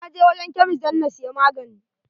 Na je wurin kemist dan na siya magani.